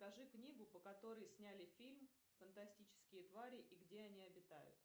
покажи книгу по которой сняли фильм фантастические твари и где они обитают